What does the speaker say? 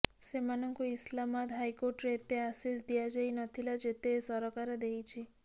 ସେମାନଙ୍କୁ ଇସଲାମାଦ ହାଇକୋର୍ଟରେ ଏତେ ଆସେସ୍ ଦିଆଯାଇ ନ ଥିଲା ଯେତେ ଏ ସରକାର ଦେଇଛି